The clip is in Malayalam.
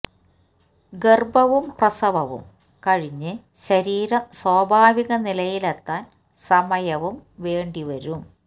ഗര്ഭവും പ്രസവവും കഴിഞ്ഞ് ശരീരം സ്വാഭാവിക നിലയിലെത്താന് സമയവും വേണ്ടി വരും